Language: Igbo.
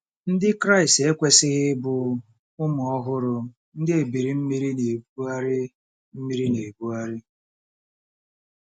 Ndị Kraịst ekwesịghị ịbụ “ụmụ ọhụrụ, ndị ebili mmiri na-ebugharị mmiri na-ebugharị .”